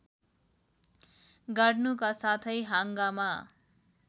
गाड्नुका साथै हाँगामा